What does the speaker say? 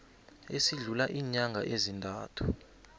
esidlula iinyanga ezintathu